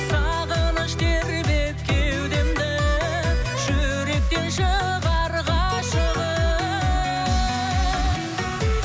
сағыныш тербеп кеудемді жүректен шығар ғашығым